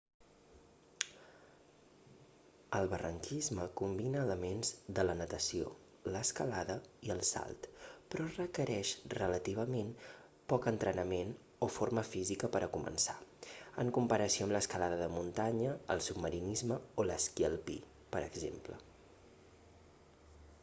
el barranquisme combina elements de la natació l'escalada i el salt però requereix relativament poc entrenament o forma física per a començar en comparació amb l'escalada de muntanya el submarinisme o l'esquí alpí per exemple